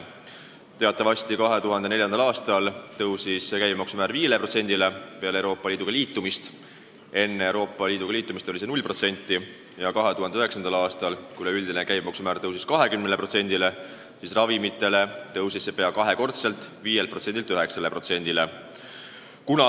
Teatavasti 2004. aastal, peale Euroopa Liiduga ühinemist, tõusis käibemaksu määr 5%-le, enne Euroopa Liitu astumist oli see 0% ja 2009. aastal, kui üldine käibemaksu määr tõusis 20%-le, tõusis see ravimitel pea kaks korda: 5%-lt 9%-le.